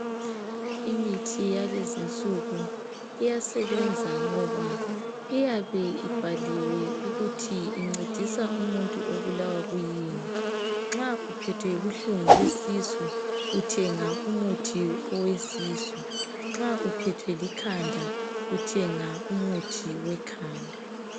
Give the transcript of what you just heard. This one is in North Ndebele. Imithi yalezi insuku iyasebenza ngoba iyabe ibhaliwe ukuthi incedisa umuntu obulawa kuyini. Nxa uphethwe yibuhlungu besisu uthenga umuthi owesisu. Nxa uphethwe likhanda uthenga umuthi wekhanda.